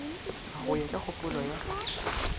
go ya ka kgopolo ya